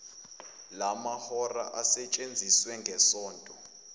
lamahora asetshenziwe ngesonto